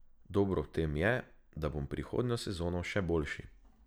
Dobro v tem je, da bom prihodnjo sezono še boljši.